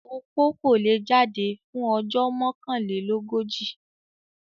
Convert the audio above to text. Opó kò le è jáde fún ojó Mọ́kànlélógójì.